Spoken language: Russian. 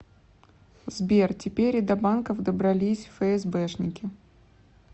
сбер теперь и до банков добрались фээсбэшники